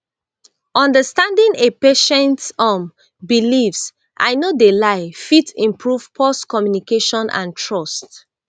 understanding a patients um beliefs i no de lie fit improve pause communication and trust